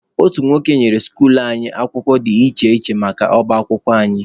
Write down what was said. Otu nwoke nyere skuluu anyị akwụkwọ dị iche iche maka ọba akwụkwọ anyị.